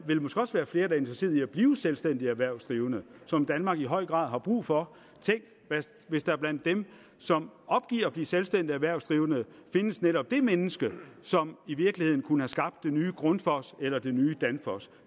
vil måske også være flere der interesseret i at blive selvstændige erhvervsdrivende som danmark i høj grad har brug for tænk hvis der blandt dem som opgiver at blive selvstændige erhvervsdrivende findes netop det menneske som i virkeligheden kunne have skabt det nye grundfos eller det nye danfoss